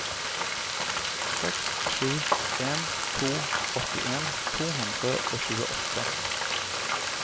seks sju en to åttien to hundre og tjueåtte